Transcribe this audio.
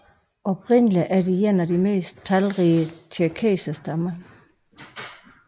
Oprindeligt er de en af de mest talrige tjerkesserstammer